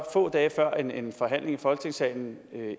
få dage før en en forhandling i folketingssalen